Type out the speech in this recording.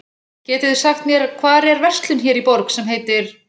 Getiði sagt mér, hvar er verslun hér í borg, sem heitir